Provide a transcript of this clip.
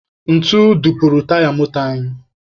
Ntu dupuru taya moto anyị.